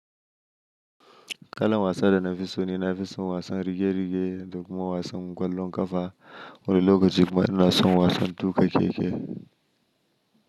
Kalon wasan da na fi so ne, na fi son wasan rige-rige, lokuman wasan kwallon kafa, wulolo ko cik ma na son wasan tuƙe keke.